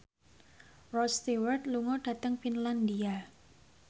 Rod Stewart lunga dhateng Finlandia